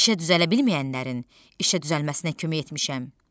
İşə düzələ bilməyənlərin işə düzəlməsinə kömək etmişəm.